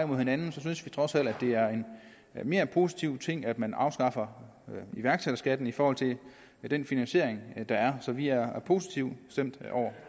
mod hinanden synes vi trods alt at det er en mere positiv ting at man afskaffer iværksætterskatten i forhold til den finansiering der er så vi er positivt stemt over